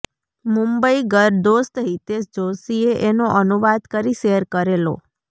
મુંબઈગર દોસ્ત હિતેશ જોશીએ એનો અનુવાદ કરી શેર કરેલો